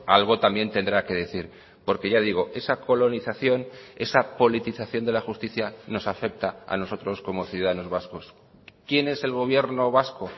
algo también tendrá que decir porque ya digo esa colonización esa politización de la justicia nos afecta a nosotros como ciudadanos vascos quién es el gobierno vasco